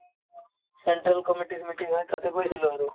central committee ৰ meeting হয় তাতে গৈছিলো আৰু